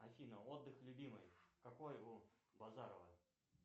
афина отдых любимый какой у базарова